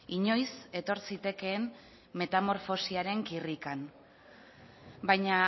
inoiz etor zitekeen metamorfosiaren kirrikan baina